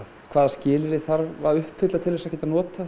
hvaða skilyrði þarf að uppfylla til þess að geta notað